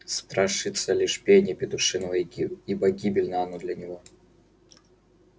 страшится лишь пения петушиного ибо гибельно оно для него